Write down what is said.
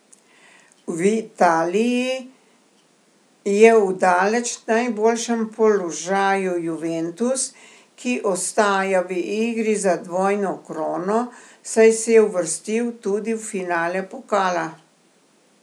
V Italiji je v daleč najboljšem položaju Juventus, ki ostaja v igri za dvojno krono, saj se je uvrstil tudi v finale pokala.